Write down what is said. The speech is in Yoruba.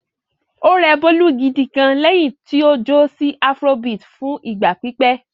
Ó rẹ Bólú gidi gan-an lẹ́yìn tí ó jó sí afrobeat fún ìgbà pípẹ́.